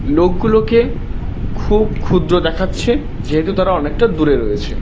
লোকগুলোকে খুব ক্ষুদ্র দেখাচ্ছে যেহেতু তারা অনেকটা দূরে রয়েছে।